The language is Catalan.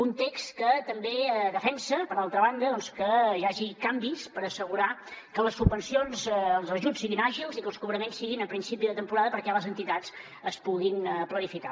un text que també defensa per altra banda que hi hagi canvis per assegurar que les subvencions els ajuts siguin àgils i que els cobraments siguin a principi de temporada perquè les entitats es puguin planificar